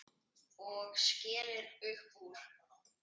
Og skellir upp úr.